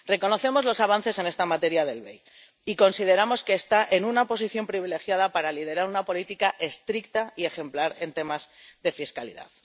Reconocemos los avances en esta materia del BEI y consideramos que está en una posición privilegiada para liderar una política estricta y ejemplar en temas de fiscalidad.